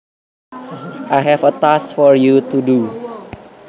I have a task for you to do